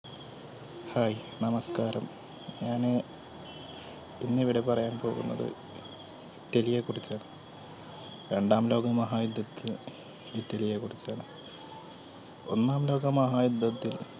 Hi നമസ്കാരം ഞാൻ ഇന്ന് ഇവിടെ പറയാൻ പോകുന്നത് ഇറ്റലിയെ കുറിച്ചാണ്. രണ്ടാം ലോക മഹായുദ്ധത്തിന് ഇറ്റലിയെ കുറിച്ചാണ്. ഒന്നാം ലോക മഹായുദ്ധത്തിൽ